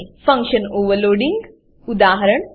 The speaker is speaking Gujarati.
ફંકશન ઓવરરાઇડિંગ ફંક્શન ઓવરરાઈડીંગ ઉદા